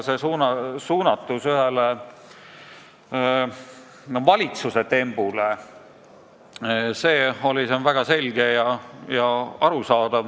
Tema kõne suunatus ühele valitsuse tembule oli aga minu jaoks väga selge ja arusaadav.